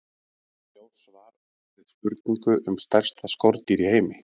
Sjá svar við spurningu um stærsta skordýr í heimi.